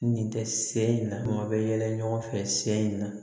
Nin tɛ se in na maa bɛ yɛlɛ ɲɔgɔn fɛ sɛ in na